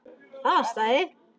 Það stæði.